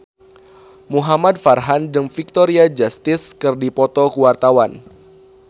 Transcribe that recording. Muhamad Farhan jeung Victoria Justice keur dipoto ku wartawan